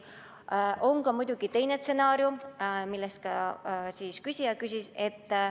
On ka muidugi teine stsenaarium, mille kohta küsija küsis.